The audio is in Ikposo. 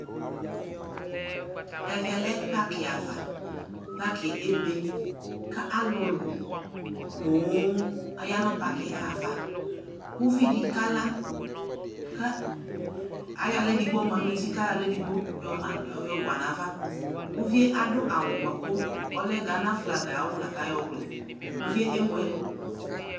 Ɛvɛ lɛ pakɩava, pakɩɛ ebe ; ka alʋlʋ poo aya nʋ pakɩɛ ava Uvidɩ kala, ka ayɔ aɣla edigbo ma n'uti kayɔaɣla edigbo yɔma yɔwa n'ava Uvie adʋ awʋ bʋa kʋ ɔlɛ Ghana flag ay'awʋ la k'ayɔ wlɛ : uvie ewuɛlʋ